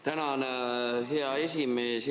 Tänan, hea esimees!